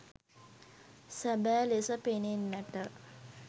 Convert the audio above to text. සැබෑ ලෙස පෙනෙන්නට